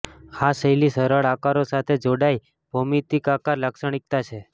આ શૈલી સરળ આકારો સાથે જોડાઈ ભૌમિતિક આકાર લાક્ષણિકતા છે